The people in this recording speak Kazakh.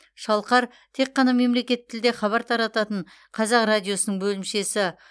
шалқар тек қана мемлекеттік тілде хабар тарататын қазақ радиосының бөлімшесі